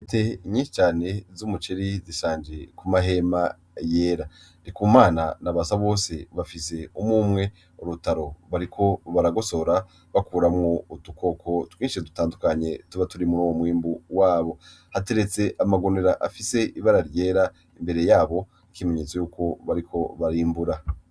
Intete nyinshi cane z'umuceri zishanje ku mahema yera, Ndikumana na Basabose bafise umw'umwe urutaro bariko baragosora bakuramwo udukoko twinshi dutandukanye tuba turi mur'uwo mwimbu wabo, hateretse amagunira afise ibara ryera imbere yabo nk'ikimenyetso yuko bariko barimbura.